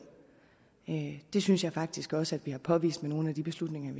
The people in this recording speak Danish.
det synes jeg faktisk også at vi har påvist med nogle af de beslutninger